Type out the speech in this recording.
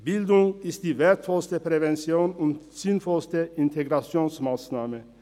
Bildung ist die wertvollste Prävention und sinnvollste Integrationsmassnahme.